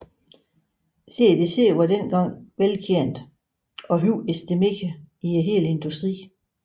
CDC var dengang velkendt og høj estimeret i hele industrien